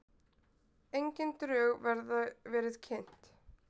Engin drög verið kynnt